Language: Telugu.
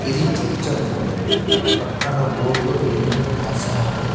ఇది చర్చ్ అనుకుంటా పక్కన బోర్డు లో ఏందో రాశారు.